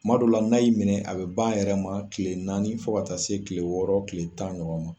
Kuma dɔw la n'a y'i minɛ a be ban a yɛrɛ ma kile naani fo ka taa se kile wɔɔrɔ kile tan ɲɔgɔn ma